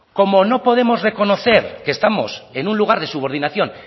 como no podemos reconocer que estamos en un lugar de subordinación